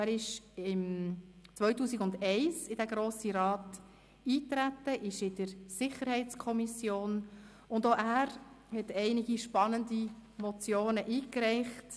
2001 trat er in den Grossen Rat ein, ist Mitglied der SiK, und auch er hat einige spannende Motionen eingereicht.